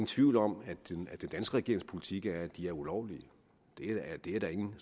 tvivl om at den danske regerings politik er at de er ulovlige det er der ingen